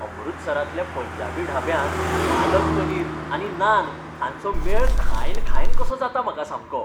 अमृतसरांतल्या पंजाबी ढाब्यांत पालक पनीर आनी नान हांचो मेळ खायन खायन कसो जाता म्हाका सामको.